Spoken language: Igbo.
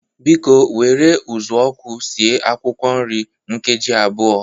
Biko were ụzụọkụ sie akwụkwọ nri nkeji abụọ.